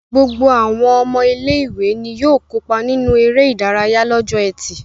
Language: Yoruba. Gbogbo àwọn ọmọ ilé-ìwé ni yóò kópa nínú eré-idárayá lọ́jọ́ ẹtì.